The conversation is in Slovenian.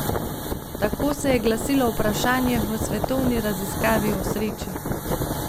Tako se je glasilo vprašanje v svetovni raziskavi o sreči.